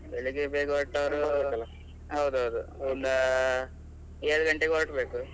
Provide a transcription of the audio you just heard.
ಹ್ಮ್. ಬೆಳಿಗ್ಗೆ ಬೇಗ ಹೊರಟವ್ರು . ಹೌದೌದು. ಒಂದ್ ಏಳ್ ಗಂಟೆಗೆ ಹೊರಡ್ಬೇಕು.